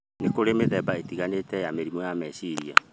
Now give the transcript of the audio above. Nĩ kũrĩ mĩthemba ĩtiganĩte ya mĩrimũ ya meciria,